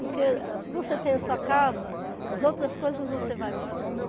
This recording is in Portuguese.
Porque se você tem a sua casa, as outras coisas você vai buscando.